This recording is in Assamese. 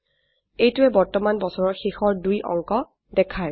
এইটোৱে বৰ্তমান বছৰৰ শেষৰ দুই অংক দেখায়